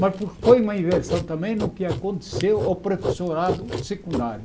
Mas por foi uma inversão também no que aconteceu ao professorado secundário.